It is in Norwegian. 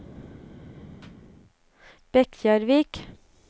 Bekkjarvik